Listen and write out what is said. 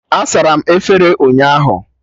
A sara m efere ụnyaahụ